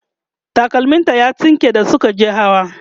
takalmim ta ya tsinke da Suka je hawa